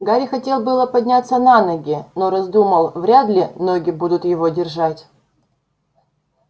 гарри хотел было подняться на ноги но раздумал вряд ли ноги будут его держать